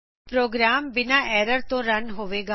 programme ਬਿਨਾ error ਤੋ run ਹੋਵੇਗਾ